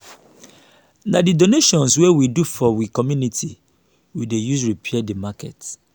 na di donation wey we do for we community we dey use repair di market.